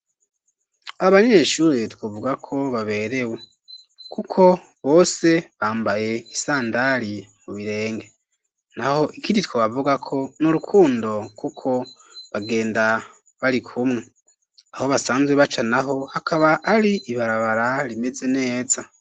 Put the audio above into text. Abanyeshuri twovuga ko baberewe, kuko bose bambaye isandari mu birenge, naho ikindi twobavugako n'urukundo kuko bagenda barikumwe, aho basanzwe baca naho hakaba ari ibarabara rimeze neza.